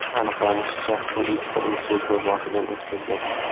Aniqlanishicha, u ikkita insultni boshidan o‘tkazgan.